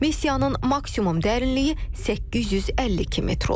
Missiyanın maksimum dərinliyi 852 metr olub.